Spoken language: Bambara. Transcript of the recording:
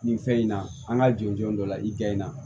Nin fɛn in na an ka jɔn jɔn dɔ la i kɛ in na